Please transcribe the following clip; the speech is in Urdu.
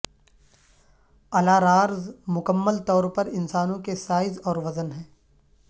الارارز مکمل طور پر انسانوں کے سائز اور وزن ہیں